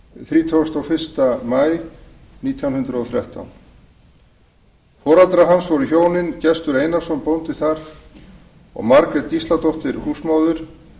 þrítugasta og fyrsta maí nítján hundruð og þrettán foreldrar hans voru hjónin gestur einarsson bóndi þar og margrét gísladóttir húsmóðir